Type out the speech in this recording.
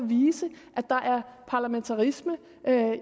vise at der er parlamentarisme